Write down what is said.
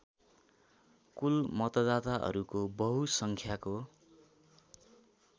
कुल मतदाताहरूको बहुसङ्ख्याको